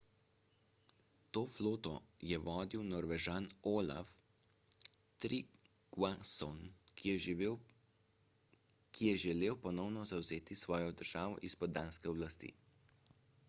to floto je vodil norvežan olaf trygvasson ki je želel ponovno zavzeti svojo državo izpod danske oblasti